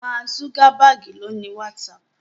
Mark Zuckerberg ló ni WhatsApp.